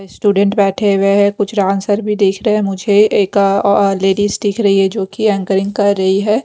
Student बैठे हुए हैं कुछ डांसर भी दिश रहे हैं मुझे एक अ अअ लेडीज दिख रही है जोकि एंकरिंग कर रही है।